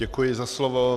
Děkuji za slovo.